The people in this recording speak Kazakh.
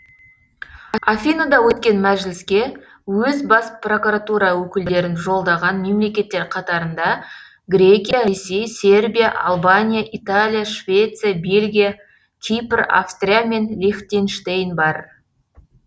афинада өткен мәжіліске өз бас прокуратура өкілдерін жолдаған мемлекеттер қатарында грекия ресей сербия албания италия швеция бельгия кипр австрия мен лихтенштейн бар